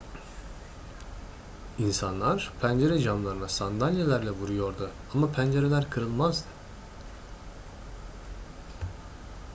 i̇nsanlar pencere camlarına sandalyelerle vuruyordu ama pencereler kırılmazdı